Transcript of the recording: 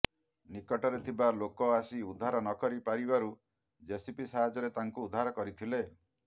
ନିକଟରେ ଥିବା ଲୋକ ଆସି ଉଦ୍ଧାର ନକରି ପାରିବାରୁ ଜେସିବି ସାହାଯ୍ୟରେ ତାଙ୍କୁ ଉଦ୍ଧାର କରିଥିଲେ